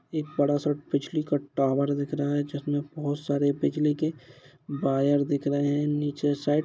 एक बड़ा सा बिजली का टावर दिख रहा है जिसमें बहोत सारे बिजली के वायर दिख रहे हैं। नीचे साइड़ --